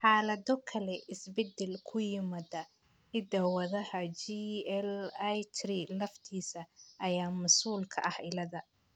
Xaalado kale, isbeddel ku yimaada hidda-wadaha GLI3 laftiisa ayaa mas'uul ka ah cilladda.